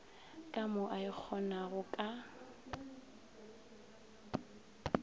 ka mo a ikgonago ka